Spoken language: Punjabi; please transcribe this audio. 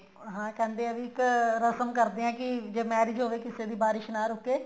ਹਾਂ ਕਹਿੰਦੇ ਆ ਵੀ ਇੱਕ ਰਸਮ ਕਰਦੇ ਆ ਵੀ ਜੇ marriage ਹੋਵੇ ਕਿਸੇ ਦੀ ਬਾਰਿਸ਼ ਨਾ ਰੁਕੇ